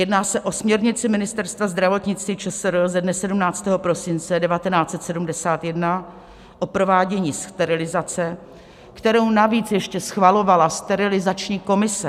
Jedná se o směrnici Ministerstva zdravotnictví ČSR ze dne 17. prosince 1971, o provádění sterilizace, kterou navíc ještě schvalovala sterilizační komise.